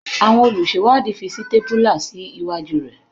Àwọn olùṣèwádìí fi sítépúlà sí iwájú rẹ̀.